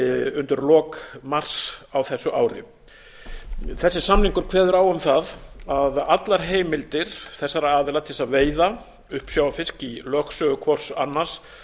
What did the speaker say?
undir lok mars á þessu ári þessi samningur kveður á um það að allar heimildir þessara aðila til þess að veiða uppsjávarfisk í lögsögu hvors annars